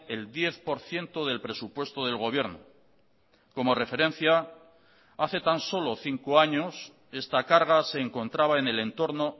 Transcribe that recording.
el diez por ciento del presupuesto del gobierno como referencia hace tan solo cinco años esta carga se encontraba en el entorno